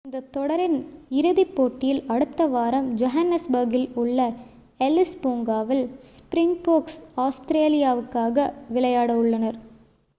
இந்தத் தொடரின் இறுதிப் போட்டியில் அடுத்த வாரம் ஜோகன்னஸ்பர்க்கில் உள்ள எல்லிஸ் பூங்காவில் ஸ்ப்ரிங்போர்க்ஸ் ஆஸ்திரேலியாவுக்காக விளையாட உள்ளனர்